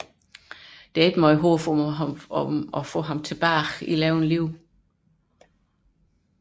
Der er ikke meget håb om at få ham tilbage i live